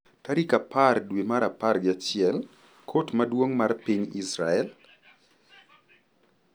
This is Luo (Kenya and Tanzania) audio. Tarik apar dwe mar apar gi achiel, Kot Maduong’ mar piny Israel